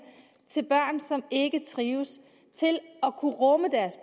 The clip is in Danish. til børn som ikke trives til at kunne rumme deres